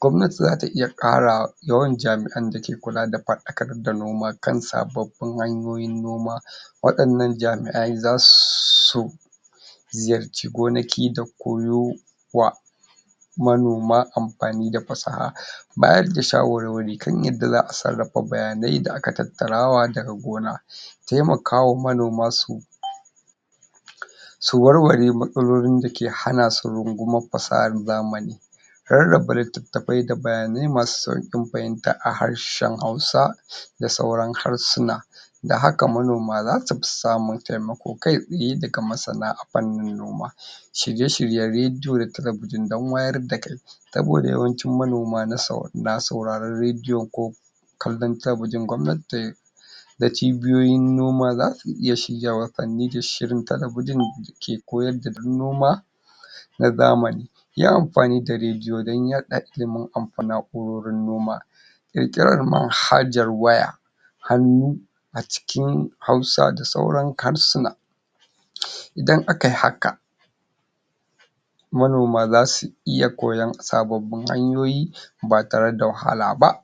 Gwamnati za ta iya ƙara yawan jami'an da ke kula da faɗakar da noma kan sababbin hanyoyin noma waɗannan jami'ai za su ziyarci gonaki da koyowa manoma amfani da fasaha bayar da shawarwari kan yadda za sarrafa bayanan da aka tattara daga gona taimakawa manoma su su warware matsalolin da ke hana su rungumar fasahar zamani Rarraba littatafai da bayanai masu sauƙin fahimta a harshen Hausa da sauran harsuna. da haka manoma za su fi samun taimako kai tsaye daga masana a fannin noma Shirye-shiryen rediyo da talabijin don wayar da aki saboda yawancin manoma na sauraren rediyo ko kallon Talabijin gwammati tai da cibiyoyin noma za su iya shiryawa da talabijin dake koyar da dabarun noma na zamani. Yin amfani da rediyo don yaɗa ilimin amfani da na'urorin noma ƙirƙirar manhajar wayar hannu a cikin Hausa da sauran harsuna idan akai haka manoma za su iya koyon sababbin hanyoyi ba tare da wahala ba.